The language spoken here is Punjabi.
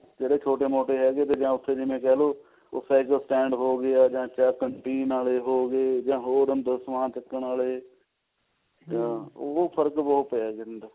ਜਿਹੜੇ ਛੋਟੇ ਮੋਟੇ ਹੈਗੇ ਆਂ ਉੱਥੇ ਜਿਵੇਂ ਕਿਹ ਲਓ ਉਹ cycle stand ਹੋਗਿਆ ਜਾਂ canteen ਆਲੇ ਹੋਗੇ ਜਾਂ ਹੋਰ ਅੰਦਰ ਸਮਾਨ ਚੱਕਣ ਆਲੇ ਫਰਕ ਬਹੁਤ ਪੈ ਜਾਂਦਾ